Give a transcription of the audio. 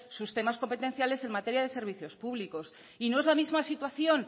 sus temas competenciales en materia de servicios públicos y no es la misma situación